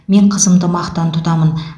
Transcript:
мен қызымды мақтан тұтамын